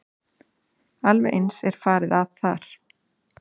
Alveg eins er farið að þar.